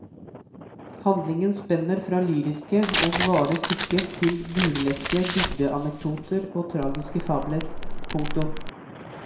Handlingen spenner fra lyriske og vare stykker til burleske bygdeanekdoter og tragiske fabler. punktum